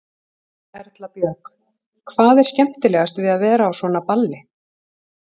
Erla Björg: Hvað er skemmtilegast við að vera á svona balli?